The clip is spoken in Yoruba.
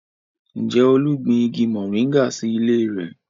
Ǹjẹ́ Olú gbin igi moringa sí ilé rẹ̀?